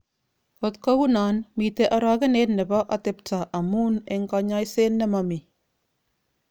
Ot kounon, miten orogenet nebo otebto amun eng konyoiset nemomi.